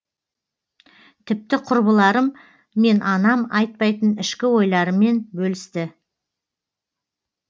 тіпті құрбыларым мен анам айтпайтын ішкі ойларымен бөлісті